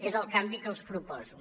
és el canvi que els proposo